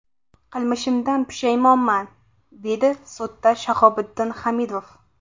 Qilmishimdan pushaymonman, dedi sudda Shahobiddin Hamidov.